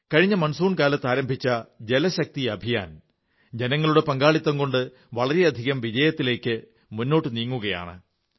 കഴിഞ്ഞ മൺസൂൺ കാലത്ത് ആരംഭിച്ച ജലശക്തി അഭിയാൻ ജനങ്ങളുടെ പങ്കാളിത്തം കൊണ്ട് വളരെയധികം വിജയത്തിലേക്ക് മുന്നോട്ടു നീങ്ങുകയാണ്